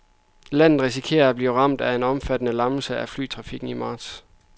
Landet risikerer at blive ramt af en omfattende lammelse af flytrafikken i marts.